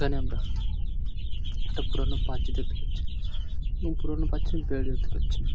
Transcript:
এখানে আমরা একটা পুরোনো পাঁচিল দেখতে পাচ্ছি এই পুরোনো পাঁচিল দেখতে পাচ্ছি ।